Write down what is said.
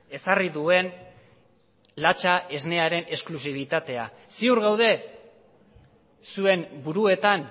ezarri duen latxa esnearen exklusibitatea ziur gaude zuen buruetan